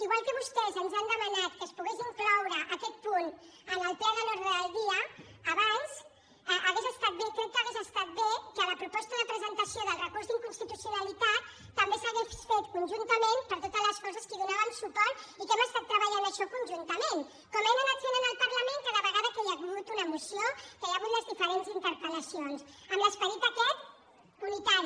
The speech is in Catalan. igual que vostès ens han demanat que es pogués incloure aquest punt en l’ordre del dia del ple abans hauria estat bé crec que hauria estat bé que la proposta de presentació del recurs d’inconstitucionalitat també s’hagués fet conjuntament per totes les forces que hi donàvem suport i que hem estat treballant això conjuntament com hem anat fent en el parlament cada vegada que hi ha hagut una moció que hi ha hagut les diferents interpellacions amb l’esperit aquest unitari